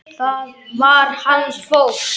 Það var hans fólk.